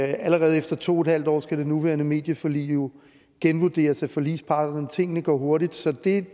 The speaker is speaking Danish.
allerede efter to en halv år skal det nuværende medieforlig genvurderes af forligsparterne tingene går hurtigt så det